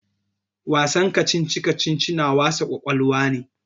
Wasan kacici-kacici na wasa ƙwaƙwalwa ne.